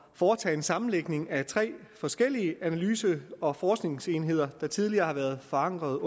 foretage en sammenlægning af tre forskellige analyse og forskningsenheder der tidligere har været forankret